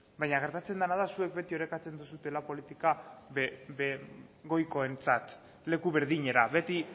baina gertatzen dena da zuek beti orekatzen duzuela politika goikoentzat leku berdinera beti